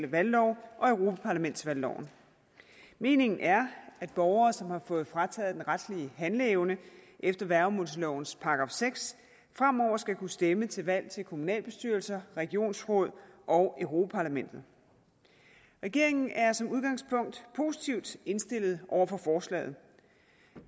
valglov og europaparlamentsvalgloven meningen er at borgere som har fået frataget den retlige handleevne efter værgemålslovens § seks fremover skal kunne stemme til valg til kommunalbestyrelser regionsråd og europa parlamentet regeringen er som udgangspunkt positivt indstillet over for forslaget